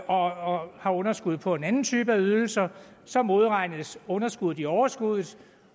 og har underskud på en anden type af ydelser så modregnes underskuddet i overskuddet